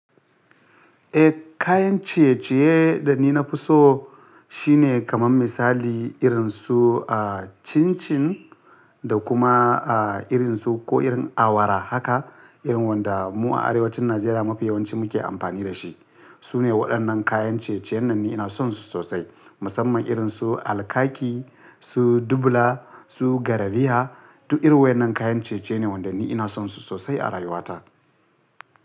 Eh kayan ciye-ciye da ni na fi so shine kaman misali irin su ah cin-cin da kuma ah irin su ko irin awara haka irin wanda mu a arewacin Najeriya mafiyawanci muke amfani da shi. Su ne waɗannan kayan ciye-ciyen da ni ina son su sosai. Musamman irin su alkaki, su dubula, su garariya duk irin waɗannan kayan ciye-ciye ne wanda ni ina son su sosai a rayuwata.